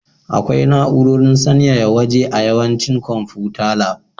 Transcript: Akwai na'urar sanyaya waje a yawancin konfuta lab.